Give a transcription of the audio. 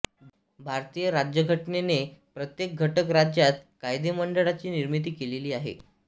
भारतीय राज्यघटनेने प्रत्येक घटक राज्यात कायदेमंडळाची निर्मिती केलेली आहे